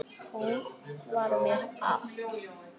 Hún var mér allt.